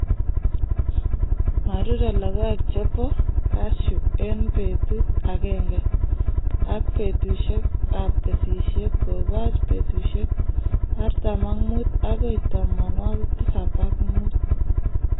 Ma rurei logoek che bo kasyu eng' peetuut agenge, ak peetuusyegap kesisyet kobooch peetuusyek artam ak muut agoi tamanwogik tisap ak muut.